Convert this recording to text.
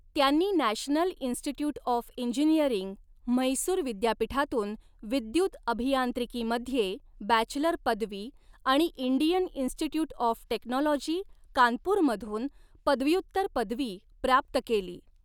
त्यांनी national institute of engineering, Mysore विद्यापीठातून विद्युत अभियांत्रिकीमध्ये बॅचलर पदवी आणि इंडियन इन्स्टिट्यूट ऑफ टेक्नॉलॉजी कानपूरमधून पदव्युत्तर पदवी प्राप्त केली.